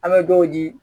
An bɛ dɔw di